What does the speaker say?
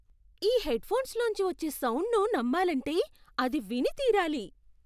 ఈ హెడ్ఫోన్స్ లోంచి వచ్చే సౌండ్ను నమ్మాలంటే అది విని తీరాలి.